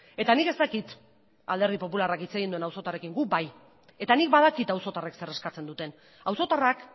eta nik ez dakit alderdi popularrak hitz egin duen auzotarrekin guk bai eta nik badakit auzotarrek zer eskatzen duten auzotarrak